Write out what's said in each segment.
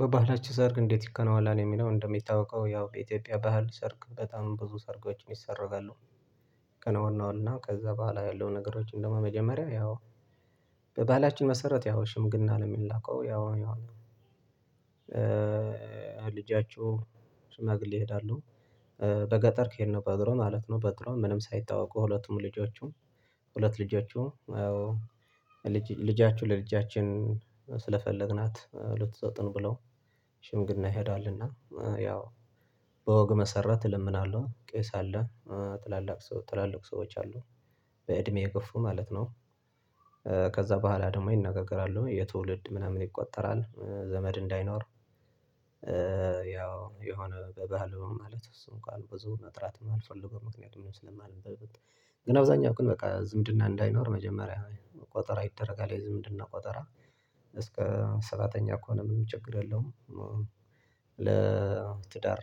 በባህላችሁ ሰርግ እንዴት ይከናወናል የሚለውን እንደሚታወቀው ያው በኢትዮጵያ ባህል ሰርግ በጣም ብዙ ሰርጎችን ይሰረጋሉ፤። ከነዋናውና ከዛ በኋላ ያለው ነገሮች እንደውም መጀመሪያ ያው በባላችን መሰረት ያው ሽምግልና ነው የሚላከው ያው ይሄው ልጃችሁ ሽማግሌ ይሄዳሉ በገጠር ከሄድነው በእግሩ ማለት ነው በእግሩ ምንም ሳይታወቁ ሁለቱም ልጆቹም ሁለት ልጆቹ ልጃችሁ ለልጃችን ስለፈለግናት ልትሰጡን ብለው ሽምግልና ይሄዳልና ያው በወግ መሰረት ይለምናሉ ቄስ አለ ጥላልቅ ሰው ትላልቅ ሰዎች አሉ በእድሜ የገፉ ማለት ነው። ከዛ በኋላ ደግሞ ይነጋገራሉ የትውልድ ምናምን ይቆጠራል ዘመድ እንዳይኖር ያው የሆነ በባህሉ ማለት እሱ እንኳን ብዙ መጥራት የማልፈልገው ምክንያቱም ስለማልል ግን አብዛኛው ግን በቃ ዝምድና እንዳይኖር መጀመሪያ ቁጠራ ይደረጋል የዝምድና ቆጠራ እስከ ሰባተኛ ከሆነ ምንም ችግር የለውም። ለትዳር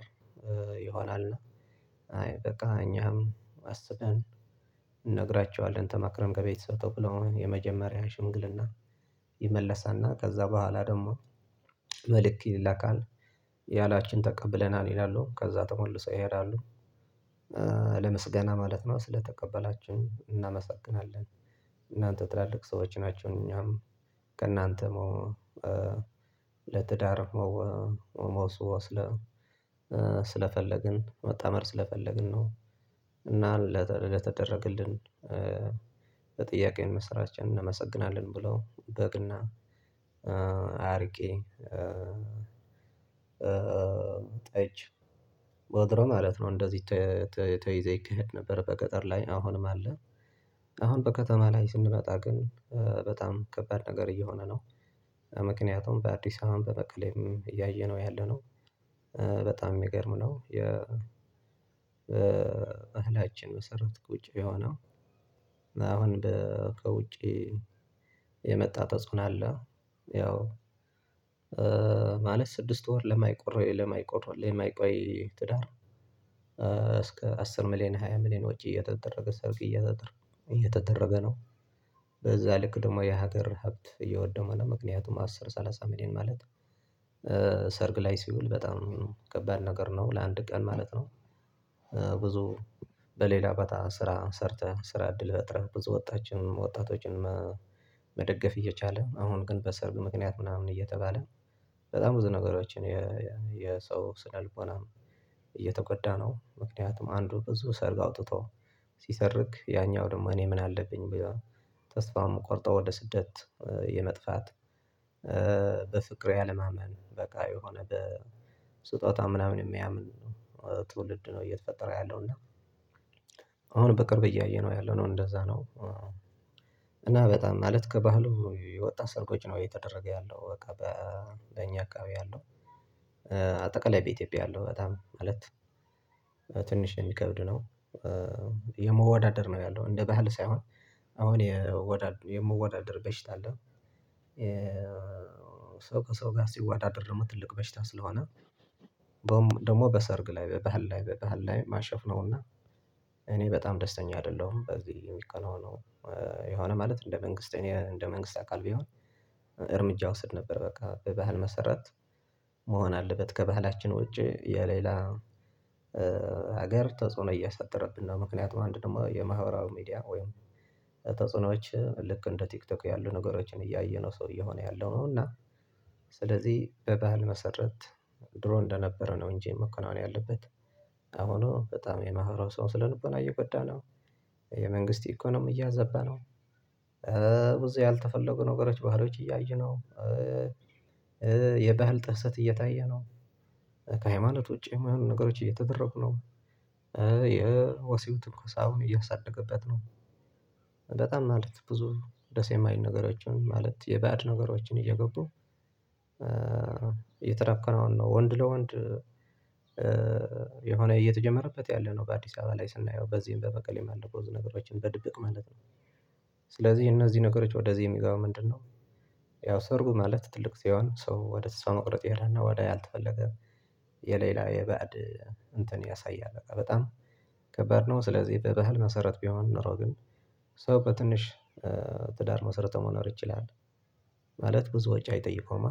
ይሆናል አይ በቃ እኛም አስበን እንነግራችኋለን ተማክረም ከቤተሰብ ተው ብለው የመጀመሪያ ሽንግልና ይመለሳልና ከዛ በኋላ ደግሞ መልክት ይላካል። ያላችሁን ተቀብለናል ይላሉ ከዛ ተመልሰው ይሄዳሉ ለምስገና ማለት ነው ስለተቀበላችሁ እናመሰግናለን እናንተ ትላልቅ ሰዎች ናችሁ እኛም ከእናንተም ለትዳር መውሰው ስለ ስለፈለግን መጣመር ስለፈለግን ነው። እና ለተደረገልን በጥያቄው መስራችንን እናመሰግናለን ብለው በግ እና አርቄ ጠጅ ወትሮ ማለት ነው እንደዚህ ተይዞ ይክሄድ ነበር በቀጠር ላይ አሁንም አለ። አሁን በከተማ ላይ ስንመጣ ግን በጣም ከባድ ነገር እየሆነ ነው። ምክንያቱም በአዲስ አበባም በመቀሌም እያየነው ያለነው በጣም የሚገርም ነው የ ባህላችን መሰረት ቁጭ የሆነው አሁን ከውጪ የመጣ ተጽዕኖ አለ። ያው ማለት ስድስት ወር ለማይቆይው ለማይቆይው የማይቆይ ትዳር እስከ አስር ሚሊየን ሃያ ሚሊየን ውጪ እየተደረገ ሰርግ እየተደረገ እየተደረገ ነው። በዛ ልክ ደግሞ የሀገር ሀብት እየወደመ ነው ምክንያቱም አስር ሰላሳ ሚሊዮን ማለት ሰርግ ላይ ሲውል በጣም ከባድ ነገር ነው ለአንድ ቀን ማለት ነው። ብዙ በሌላ በታ ስራ ሰርተን ስራ እድል ፈጥረን ብዙ ወጣት ወጣቶችን መደገፍ እየቻለን አሁን ግን በሰርግ ምክንያት ምናምን እየተባለ በጣም ብዙ ነገሮችን የሰው ስነ ልቦናም እየተጎዳ ነው። ምክንያቱም አንዱ ብዙ ሰርግ አውጥቶ ሲሰርግ ያኛው ደግሞ እኔ ምን አለብኝ ብሎ ተስፋ የሚቆርጠው ወደ ስደት የመጥፋት በፍቅር ያለማመን በቃ የሆነ በስጦታ ምናምን የሚያምን ትውልድ ነው እየተፈጠረ ያለው እና አሁን በቅርብ እያየነው ያለው ነው እንደዛ ነው። እና በጣም ማለት ከባህሉ የወጣ ሰርጎች ነው እየተደረገ ያለው በቃ በእኛ አካባቢ ያለው አጠቃላይ በኢትዮጵያ ያለው በጣም ማለት ትንሽ የሚከብድ ነው። የመዋዳደር ነው ያለው እንደ ባህል ሳይሆን አሁን የምወዳደር በሽታ አለው ሰው ከሰው ጋር ሲዋዳደር ነው ትልቅ በሽታ ስለሆነ ደግሞ በሰርግ ላይ በባህል ላይ በባህል ላይ ማሾፍ ነውና እኔ በጣም ደስተኛ አይደለሁም። በዚህ የሚከናወነው የሆነ ማለት እንደ መንግስት እኔ እንደ መንግስት አካል ቢሆን እርምጃ ውሰድ ነበር በቃ በባህል መሰረት መሆን አለበት ከባህላችን ውጪ የሌላ ሀገር ተጽዕኖ እያሳደረብን ነው። ምክንያቱም አንድ ደግሞ የማህበራዊ ሚዲያ ወይም ተጽዕኖዎች ልክ እንደ ቲክቶክ ያሉ ነገሮችን እያየነው ሰው እየሆነ ያለው ነው እና ስለዚህ በባህል መሰረት ድሮ እንደነበረ ነው እንጂ የመከናወን ያለበት አሁኑ በጣም የማህረብ ሰው ስነልቦና እየጎዳ ነው የመንግስት ኢኮኖሚ እያዛባ ነው። ብዙ ያልተፈለጉ ነገሮች ባህሎች እያዩ ነው የባህል ጥሰት እየታየ ነው። ከሃይማኖት ውጪ የሆኑ ነገሮች እየተደረጉ ነው። የወሲብ ትኩስ አሁን እያሳደገበት ነው። በጣም ማለት ብዙ ደሴ የማይል ነገሮችን ማለት የባድ ነገሮችን እየገቡ የተረከነውን ነው ወንድ ለወንድ የሆነ እየተጀመረበት ያለ ነው በአዲስ አበባ ላይ ስናየው በዚህም በመቀሌም ባለፈው ብዙ ነገሮችን በድብቅ ማለት ነው። ስለዚህ እነዚህ ነገሮች ወደዚህ የሚገባ ምንድነው? ያው ሰርጉ ማለት ትልቅ ሲሆን ሰው ወደ ተስፋ መቁረጥ ይሄዳል ወደ ያልተፈለገ የሌላ የባዕድ እንትን ያሳያል በጣም ከባድ ነው። ስለዚህ በባህል መሰረት ቢሆን ኖሮ ግን ሰው በትንሽ ትዳር መሰረቶ መኖር ይችላል። ማለት ብዙ ወጪ አይጠይቀውም